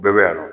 Bɛɛ bɛ yan nɔ